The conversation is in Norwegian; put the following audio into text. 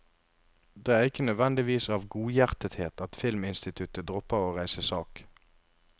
Det er ikke nødvendigvis av godhjertethet at filminstituttet dropper å reise sak.